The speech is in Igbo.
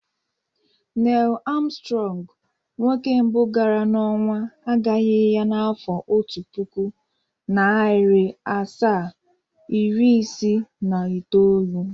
Nel Armstrong, nwoke mbụ gara n' onwa, agaghi ya n'afọ Otu puku, nari asaa, iri isii na itoolu.